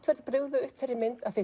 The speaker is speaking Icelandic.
verið brugðið upp þeirri mynd af